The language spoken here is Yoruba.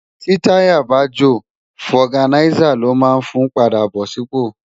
Ti tàyá bá jó fògánisá ló mán fún pàdá bó sipó